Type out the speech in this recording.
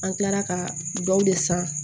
An kilara ka dɔw de san